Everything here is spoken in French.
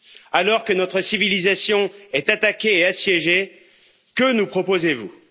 Alors que notre civilisation est attaquée et assiégée, que nous proposez vous?